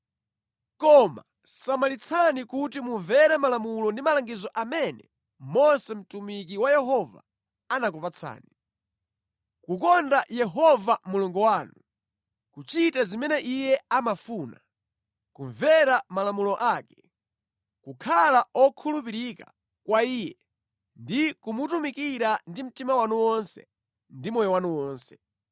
Koma samalitsani kuti mumvere malamulo ndi malangizo amene Mose mtumiki wa Yehova anakupatsani: kukonda Yehova Mulungu wanu, kuchita zimene iye amafuna, kumvera malamulo ake, kukhala okhulupirika kwa Iye ndi kumutumikira ndi mtima wanu wonse ndi moyo wanu wonse.”